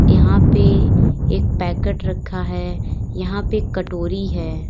यहां पे एक पैकेट रखा है यहां पे कटोरी है।